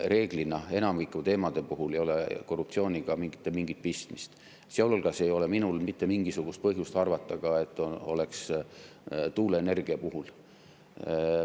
Reeglina enamiku teemade puhul ei ole korruptsiooniga mingit pistmist ja mul ei ole mitte mingisugust põhjust arvata, et tuuleenergia puhul on.